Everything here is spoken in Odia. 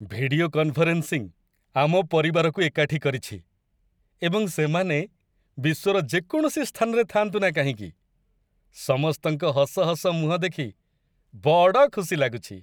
ଭିଡିଓ କନଫରେନ୍ସିଂ ଆମ ପରିବାରକୁ ଏକାଠି କରିଛି ଏବଂ ସେମାନେ ବିଶ୍ୱର ଯେକୌଣସି ସ୍ଥାନରେ ଥାଆନ୍ତୁ ନା କାହିଁକି ସମସ୍ତଙ୍କ ହସ ହସ ମୁହଁ ଦେଖି ବଡ଼ ଖୁସି ଲାଗୁଛି।